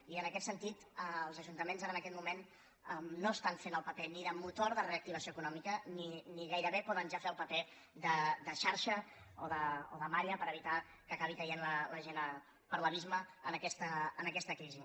i en aquest sentit els ajuntaments ara en aquest moment no estan fent el paper ni de motor de reactivació eco·nòmica ni gairebé poden ja fer el paper de xarxa o de malla per evitar que acabi caient la gent per l’abisme en aquesta crisi